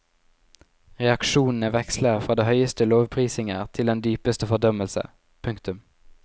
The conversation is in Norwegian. Reaksjonene veksler fra de høyeste lovprisninger til den dypeste fordømmelse. punktum